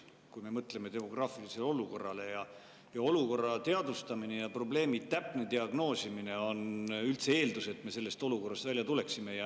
Kui me mõtleme demograafilisele olukorrale, siis olukorra teadvustamine ja probleemi täpne diagnoosimine on eeldus, et me üldse sellest olukorrast välja tuleme.